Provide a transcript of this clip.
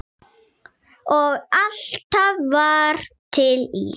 Og alltaf var til ís.